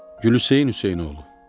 Gülhüseyn Hüseynoğlu.